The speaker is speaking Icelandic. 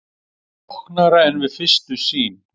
Flóknara en við fyrstu sýn